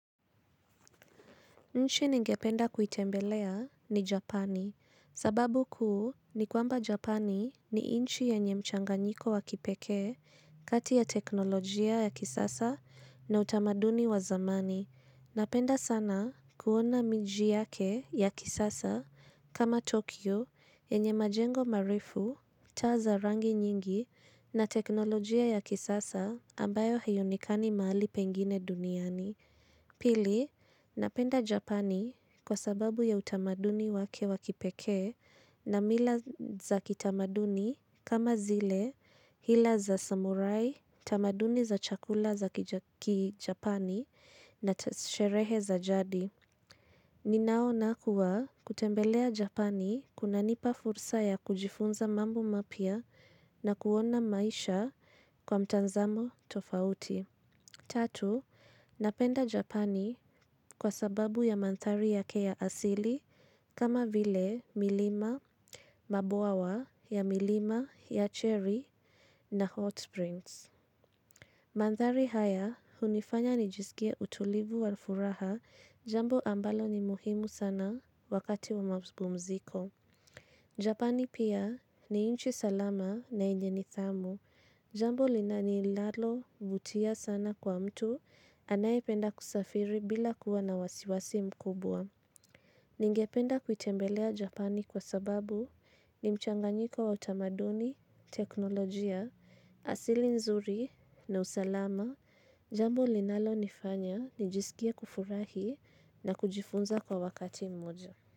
Nchi ningependa kuitembelea ni Japani, sababu kuu ni kwamba Japani ni inchi yenye mchanganyiko wa kipekee kati ya teknolojia ya kisasa na utamaduni wa zamani. Napenda sana kuona miji yake ya kisasa kama Tokyo yenye majengo marefu, taa za rangi nyingi na teknolojia ya kisasa ambayo haionekani mahali pengine duniani. Pili, napenda Japani kwa sababu ya utamaduni wake wa kipekee na mila za kitamaduni kama zile hila za samurai, tamaduni za chakula za kijapani na ta sherehe za jadi. Ninaona kuwa kutembelea Japani kunanipa fursa ya kujifunza mambo mapya na kuona maisha kwa mtanzamo tofauti. Tatu, napenda Japani kwa sababu ya mandhari yake ya asili kama vile milima, mabuawa ya milima, ya cherry na hot springs. Mandhari haya, hunifanya nijisikie utulivu wa furaha, jambo ambalo ni muhimu sana wakati wa mazibu mziko. Japani pia ni inchi salama na yenye nidhamu, jambo linanilalo vutia sana kwa mtu anayependa kusafiri bila kuwa na wasiwasi mkubwa. Ningependa kuitembelea Japani kwa sababu ni mchanganyiko wa utamaduni, teknolojia, asili nzuri na usalama jambo linalonifanya nijisikie kufurahi na kujifunza kwa wakati mmoja.